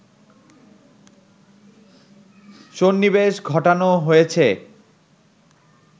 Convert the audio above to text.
সন্নিবেশ ঘটানো হয়েছে